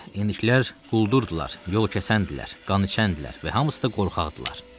İndikilər quldurdular, yol kəsəndirlər, qan içəndirlər və hamısı da qorxaqdırlar.